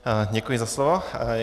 Děkuji za slovo.